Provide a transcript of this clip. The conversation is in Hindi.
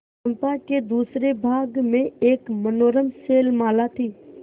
चंपा के दूसरे भाग में एक मनोरम शैलमाला थी